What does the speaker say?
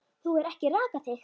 Þú hefur ekki rakað þig.